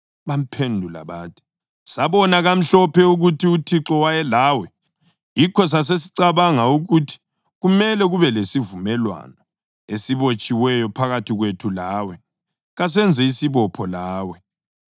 Bamphendula bathi, “Sabona kamhlophe ukuthi uThixo wayelawe; yikho sasesicabanga ukuthi kumele kube lesivumelwano esibotshiweyo phakathi kwethu lawe. Kasenze isibopho lawe